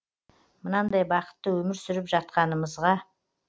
мынандай бақытты өмір сүріп жатқанымызға